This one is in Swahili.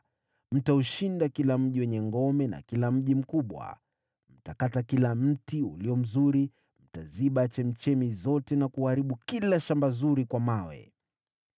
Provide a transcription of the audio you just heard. Mtaushinda kila mji wenye ngome na kila mji mkubwa. Mtakata kila mti ulio mzuri, mtaziba chemchemi zote, na kuharibu kila shamba zuri kwa mawe.”